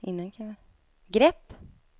grepp